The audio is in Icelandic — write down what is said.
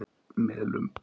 Melum